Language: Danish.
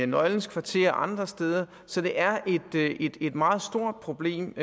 nøglens kvarter og andre steder så det er et meget stort problem